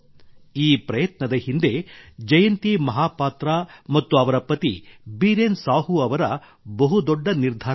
ಈ ಪ್ರಯತ್ನದ ಹಿಂದೆ ಜಯಂತಿ ಮಹಾಪಾತ್ರಾ ಮತ್ತು ಅವರ ಪತಿ ಬೀರೇನ್ ಸಾಹೂ ಅವರ ಬಹುದೊಡ್ಡ ನಿರ್ಧಾರವಿದೆ